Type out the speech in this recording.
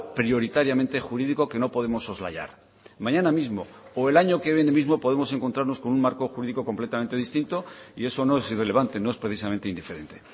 prioritariamente jurídico que no podemos soslayar mañana mismo o el año que viene mismo podemos encontrarnos con un marco jurídico completamente distinto y eso no es irrelevante no es precisamente indiferente